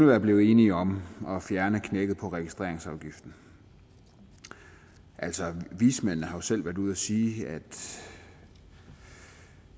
var blevet enige om at fjerne knækket på registreringsafgiften altså vismændene har selv været ude at sige at set